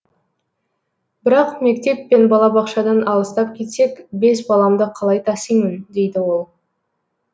бірақ мектеп пен балабақшадан алыстап кетсек бес баламды қалай тасимын дейді ол